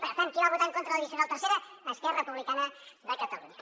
per tant qui va votar en contra de l’addicional tercera esquerra republicana de catalunya